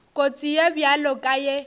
kotsi ye bjalo ka ye